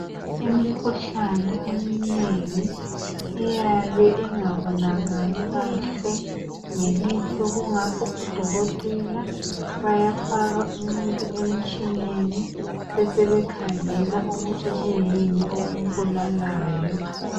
Imikhuhlane eminengi iyabe ingabonakali kahle ngelihlo kungakho odokotela bayafaka umuntu emtshineni besebekhangela ukuthi kwiyini okumbulalayo.